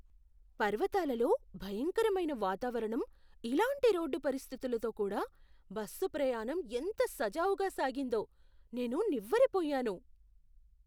పర్వతాలలో భయంకరమైన వాతావరణం, ఇలాంటి రోడ్డు పరిస్థితులతో కూడా బస్సు ప్రయాణం ఎంత సజావుగా సాగిందో. నేను నివ్వెరపోయాను!